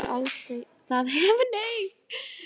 Það hefur aldrei verið talað um annað!